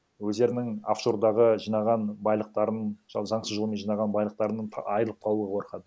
өздерінің оффшордағы жинаған байлықтарын заңсыз жолмен жинаған байлықтарынан айрылып қалуға қорқады